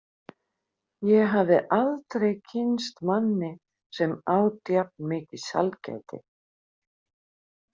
Ég hafði aldrei kynnst manni sem át jafn mikið sælgæti.